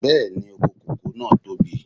Bẹ́ẹ̀ni, oko kòkó náà tóbi.